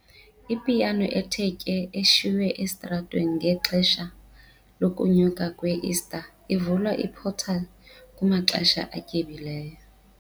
Ipiyano ethe tye eshiywe esitratweni ngexesha lokunyuka kwe-Ista ivula i-portal kumaxesha atyebileyo.